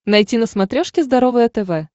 найти на смотрешке здоровое тв